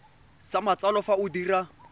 sa matsalo fa o dira